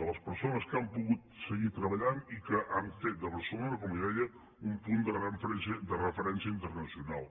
de les persones que han pogut seguir treballant i que han fet de barcelona com li deia un punt de refe·rència internacional